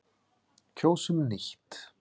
Kjósum nýtt.